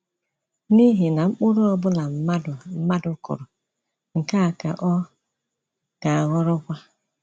“N’ihi na mkpụrụ ọ bụla mmadụ mmadụ kụrụ, nke a ka ọ ga-aghọrọkwa".